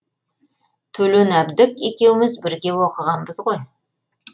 төлен әбдік екеуміз бірге оқығанбыз ғой